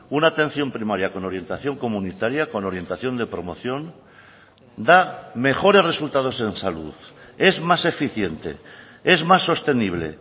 una atención primaria con orientación comunitaria con orientación de promoción da mejores resultados en salud es más eficiente es más sostenible